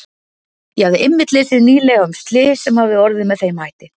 Ég hafði einmitt lesið nýlega um slys sem hafði orðið með þeim hætti.